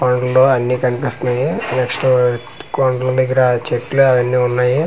పండ్లు అన్నీ కనిపిస్తున్నాయి నెక్స్ట్ కొండల దెగ్గర చెట్లు అన్నీ ఉన్నాయి .